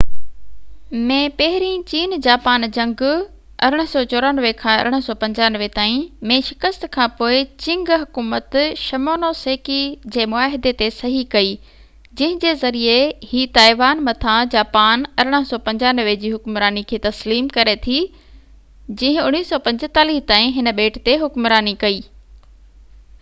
1895 ۾ پهرين چين جاپان جنگ 1894-1895 ۾ شڪست کان پوءِ چنگ حڪومت شمونوسيڪي جي معاهدي تي صحيح ڪئي جنهن جي ذريعي هي تائيوان مٿان جاپان جي حڪمراني کي تسليم ڪري ٿي جنهن 1945 تائين هن ٻيٽ تي حڪمراني ڪئي